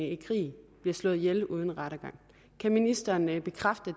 i krig bliver slået ihjel uden rettergang kan ministeren bekræfte